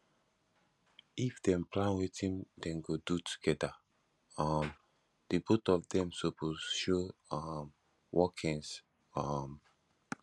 if dem plan wetin dem go do together um di both of dem suppose show um workings um